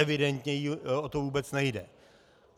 Evidentně jí o to vůbec nejde.